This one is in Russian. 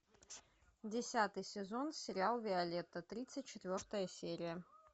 десятый сезон сериал виолетта тридцать четвертая серия